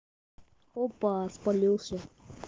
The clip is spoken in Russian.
опа спалился